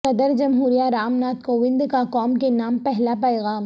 صدر جمہوریہ رام ناتھ کووند کا قوم کے نام پہلا پیغام